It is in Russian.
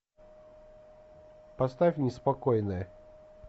поставь неспокойные